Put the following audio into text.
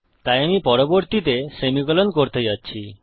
তাই আমি পরবর্তীতে সেমিকোলন করতে যাচ্ছি